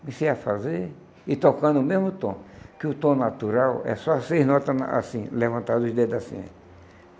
Comecei a fazer e tocando o mesmo tom, que o tom natural é só seis notas assim, levantado os dedos assim.